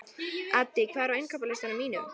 Addý, hvað er á innkaupalistanum mínum?